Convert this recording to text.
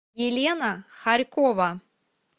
елена хорькова